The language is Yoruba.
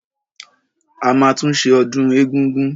A máa tún ṣe ọdún egúngún.